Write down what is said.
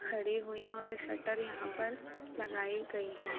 खड़ी हुई हैं और एक शटर यहां पर लगाई गई हैं।